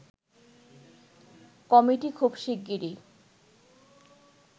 committee খুব শীগগরিই